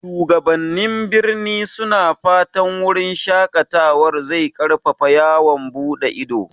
Shugabannin birni suna fatan wurin shaƙatawar zai ƙarfafa yawon buɗe ido.